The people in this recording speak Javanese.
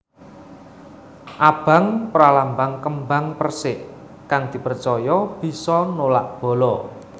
Abang pralambang kembang persik kang dipercaya bisa nolak bala